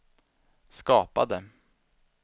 skapade